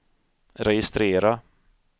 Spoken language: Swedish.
registrera